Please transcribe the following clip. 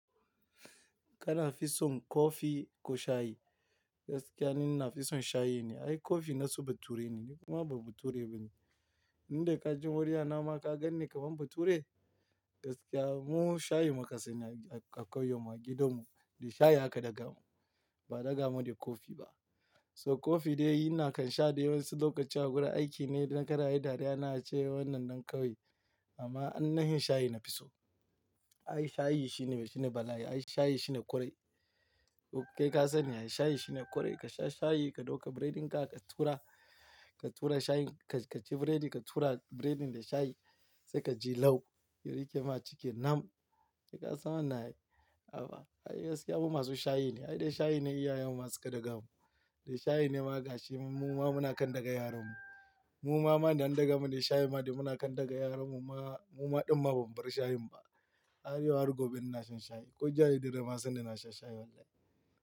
Kana fison coffee ko shayi? Gaskiya ni na fison shayi ne. Ai coffee nasu bature ne, ni kuma ba bature bane. Ni da ka ji murya nama ka ganni kamar bature? Gaskiya mu shayi mu ka sanya a, a ƙauyenmu a gidan mu, da shayi aka ɗaga mu, ba a ɗaga mu da coffee ba. So coffee dai ina kan sha dai wasu lokaci a wurin aiki ne idan ka rayu dariya na a ce wannan ɗan kawai. Amma annahin shayi na fiso. Ai shayi shi ne, shi ne bala'i. Ai shayi shi ne kwarai. To ke ka sani ai shayi shi ne korai, ka sha shayi ka ɗauka breading ka, ka tura, ka tura shayin-- ka, ka ci breading ka tura breading da shayi sai ka ji launi, yari ke ma ciki nam. Shekaru sama na yi. Aba. Ai gaskiya mu masu shayi ne. Ai dai shayi ne iyayen mu su ka ɗaga mu, da shayi ne ma a gashi mu, mu ma muna kan ɗaga yaran mu. Mu ma ba don an ɗaga mu da shayi ma dai muna kan ɗaga yaran mu. Mu ma, mu ma ɗumma bam bar shayin ba. Ai yau har gobe ina shan shayi. Ko jiya da dare ma sanda ina shan shayi wallahi.